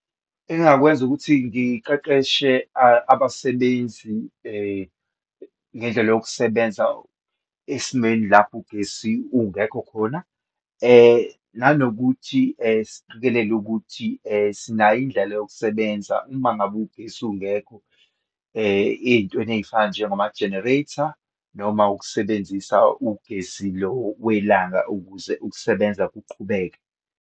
Engingakwenza ukuthi ngiqeqeshe abasebenzi ngendlela yokusebenza esimeni lapho ugesi ungekho khona, nanokuthi siqikelela uthi sinayo indlela yokusebenza uma ngabe ugesi ungekho, eyintweni eyifana njengoma-generator noma ukusebenzisa ugesi lo welanga, ukuze ukusebenza kuqhubeke.